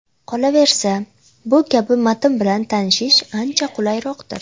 Qolaversa, bu kabi matn bilan tanishish ancha qulayroqdir.